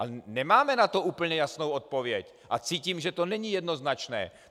A nemáme na to úplně jasnou odpověď a cítím, že to není jednoznačné.